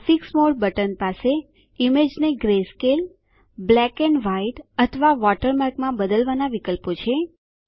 graphics mode button પાસે ઈમેજને greyscale ભૂખરી બ્લેક એન્ડ વ્હાઈટ કાળી અને સફેદ અથવા વોટરમાર્કમાં બદલવાનાં વિકલ્પો છે